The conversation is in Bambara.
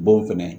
Bon fɛnɛ